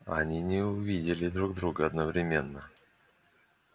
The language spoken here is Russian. они не увидели друг друга одновременно